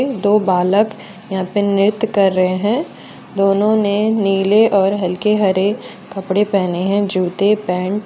दो बालक यहां पे नृत्य कर रहे हैं दोनों ने नीले और हल्के हरे कपड़े पहने हैं जूते पेंट ।